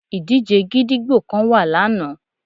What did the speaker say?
Ìdíje gídígbò kan wà lana